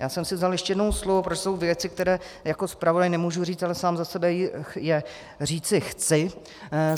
Já jsem si vzal ještě jednou slovo, protože jsou věci, které jako zpravodaj nemůžu říct, ale sám za sebe je říci chci.